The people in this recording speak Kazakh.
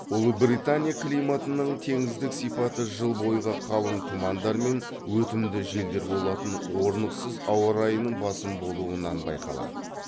ұлыбритания климатының теңіздік сипаты жыл бойғы қалың тұмандар мен өтімді желдер болатын орнықсыз ауа райының басым болуынан байқалады